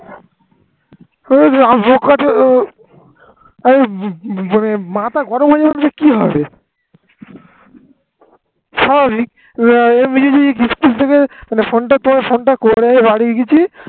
স্বাভাবিক এমনি যদি মিত্থুক ভেবে ফোন তুলে করে ফোন বাড়ি গেছি